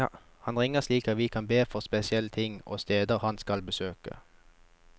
Han ringer slik at vi kan be for spesielle ting og steder han skal besøke.